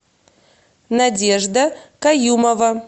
надежда каюмова